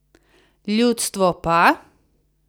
Ljudstvo pa?